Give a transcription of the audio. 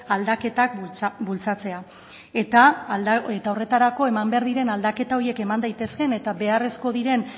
aldaketak bultzatzea eta horretarako eman behar diren aldaketa horiek eman daitezkeen eta beharrezko diren